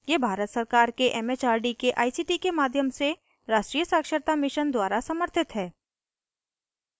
यह भारत सरकार के it it आर डी के आई सी टी के माध्यम से राष्ट्रीय साक्षरता mission द्वारा समर्थित है